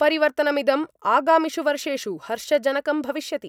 परिवर्तनमिदम् आगामिषु वर्षेषु हर्षजनकं भविष्यति।